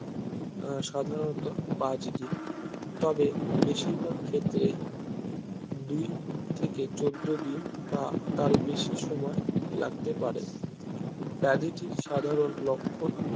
আহ সাধারণত পাঁচ দিন তবে বেশিরভাগ ক্ষেত্রে দুই থেকে চৌদ্দ দিন বা তার বেশি সময় লাগতে পারে ব্যাধিটির সাধারন লক্ষন